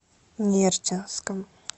нерчинском